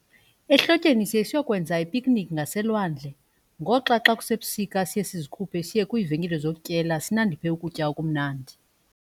Ehlotyeni siye siyokwenza i-picnic ngaselwandle ngoxa xa kusebusika siye sizikhuphe siye kwiivenkile zokutyela sinandiphe ukutya okumnandi.